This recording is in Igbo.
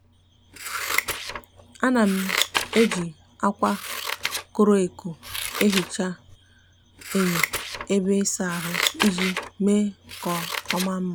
a na m eji akwa coro aco ehicha enyo ebe isa ahu iji me ka oma nma.